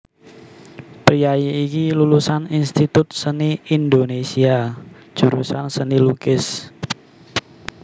Priyayi iki lulusan Institut Seni Indonésia jurusan Seni Lukis